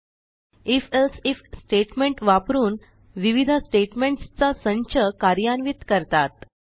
if else if statement वापरून विविध statements चा संच कार्यान्वित करतात